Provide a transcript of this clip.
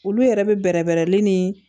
Olu yɛrɛ bɛ bɛrɛbɛrɛli ni